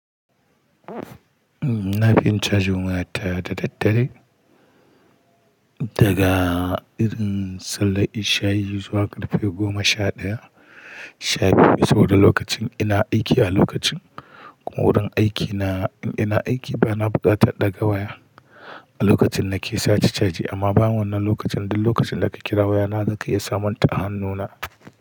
Na fi yin cajin waya ta da daddare daga irin sallah ishai zuwa karfe 11:00, 12:00 saboda lokacin ina aiki a lokacin wurin aikina in ina aiki ba na bukata ɗaga waya a lokacin na ke sate caji amma ba wannan lokacin ba duk lokacin da ka kira wayana zaka iya samun ta a hannuna.